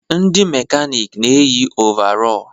Ndị mekanịkị na eyi ọvarọọr.